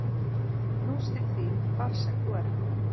Knús til þín hvar sem þú ert.